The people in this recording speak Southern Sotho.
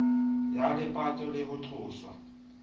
ya lepato le ho tloswa